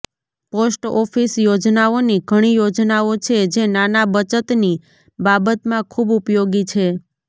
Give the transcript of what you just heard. post office યોજનાઓની ઘણી યોજનાઓ છે જે નાના બચતની બાબતમાં ખૂબ ઉપયોગી છે